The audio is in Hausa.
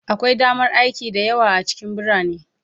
Akwai damar aiki da yawa a cikin birane